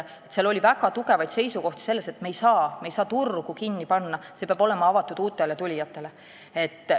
Seal oli väga tugevaid seisukohti, et me ei saa turgu kinni panna, see peab olema avatud uutele tulijatele.